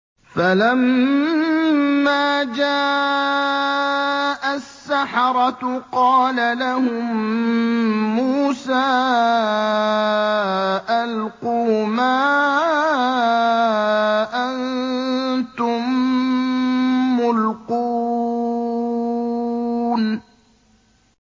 فَلَمَّا جَاءَ السَّحَرَةُ قَالَ لَهُم مُّوسَىٰ أَلْقُوا مَا أَنتُم مُّلْقُونَ